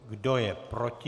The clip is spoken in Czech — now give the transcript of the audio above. Kdo je proti?